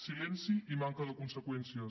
silenci i manca de conseqüències